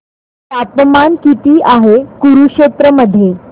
तापमान किती आहे कुरुक्षेत्र मध्ये